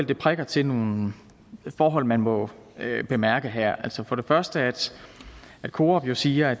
det prikker til nogle forhold man må bemærke her altså for det første at coop jo siger at